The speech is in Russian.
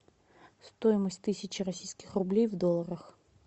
стоимость тысячи российских рублей в долларах